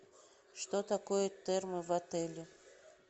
что такое термо в отеле